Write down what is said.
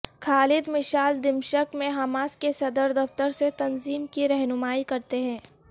خالد Mashal دمشق میں Hamas کے صدر دفتر سے تنظیم کی رہنمائی کرتے ہیں